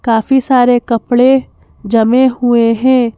काफी सारे कपडे जमे हुए हैं।